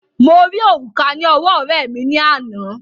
Mo rí òrùka ní ọwọ́ ọ̀rẹ́ẹ̀ mi ní àná.